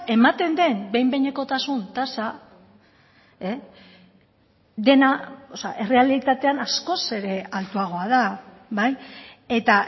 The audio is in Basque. ematen den behin behinekotasun tasa dena errealitatean askoz ere altuagoa da bai eta